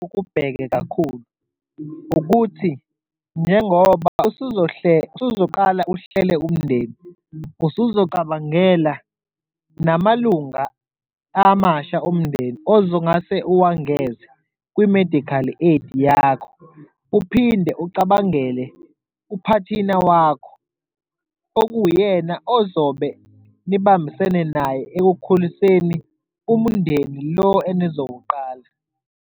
Ukubheke kakhulu ukuthi njengoba usuzoqala uhlele umndeni, usuzocabangela namalunga amasha omndeni ozungase uwangeze kwi-medical aid yakho, uphinde ucabangele uphathina wakho okuwuyena ozobe nibambisene naye ekukhuliseni umndeni lo enizowuqala.